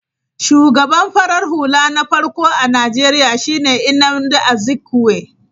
Shugaban farar hula na farko a Najeriya shi ne Nnamdi Azikwe.